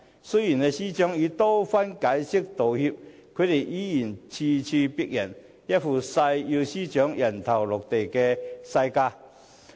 雖然司長已多番解釋及道歉，他們依然咄咄逼人、一副誓要司長"人頭落地"的架勢。